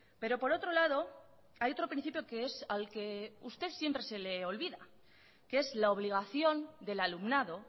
pero por otro lado hay otro principio que es al que a usted siempre se le olvida que es la obligación del alumnado